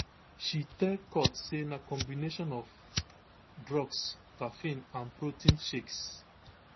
she tell court say na combination of drugs caffeine and protein shakes